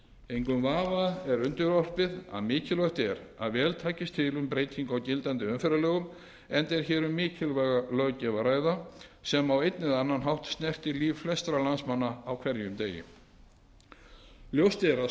engum vafa er undirorpið að mikilvægt er að vel takist til um breytingu á gildandi umferðarlögum enda er hér um mikilvæga löggjöf að ræða sem á einn eða annan hátt snertir líf flestra landsmanna á hverjum degi ljóst er að